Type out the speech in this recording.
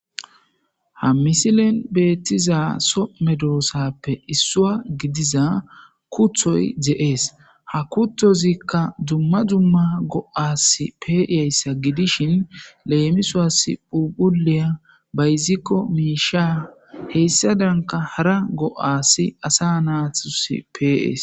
Ha missilen bettizay soho meddosappe issuwa giddiza kuutoy de7es ha kuutozika dumma dumma go7as peiyayssa giidishin lemissos phuuphphuliya bayzikko mishshsha hessadanka haara go7as asa naatus pe7es.